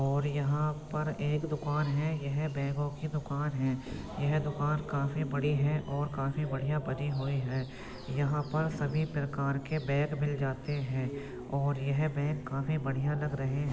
और यहाँ पर एक दुकान है और यह बैगों की दुकान है यह दुकान काफी बड़ी है और काफी बढ़िया बनी हुई है यहाँ पर सभी प्रकार के बैग मिल जाते हैं और ये बैग काफी बढ़िया लग रहे --